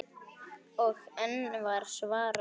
Og enn var svarað: